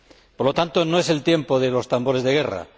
Por lo tanto, no es el tiempo de los tambores de guerra.